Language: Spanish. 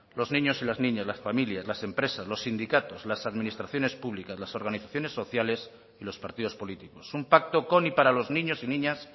los niños y las niñas las familias las empresas los sindicatos las administraciones públicas las organizaciones sociales y los partidos políticos un pacto con y para los niños y niñas